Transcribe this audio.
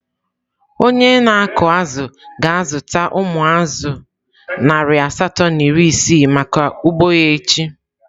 Onye na-akụ azụ̀ ga-azụta umu azu narị asatọ na iri isii maka ugbo ya echi.